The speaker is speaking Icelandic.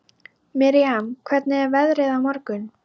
Miriam, hvernig er veðrið á morgun?